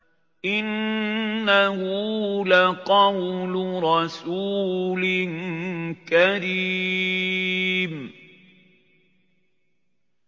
إِنَّهُ لَقَوْلُ رَسُولٍ كَرِيمٍ